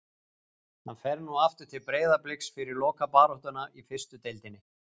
Hann fer nú aftur til Breiðabliks fyrir lokabaráttuna í fyrstu deildinni.